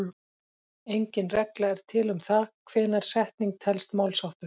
Engin regla er til um það hvenær setning telst málsháttur.